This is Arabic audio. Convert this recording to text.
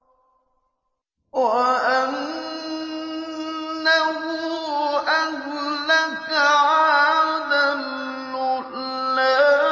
وَأَنَّهُ أَهْلَكَ عَادًا الْأُولَىٰ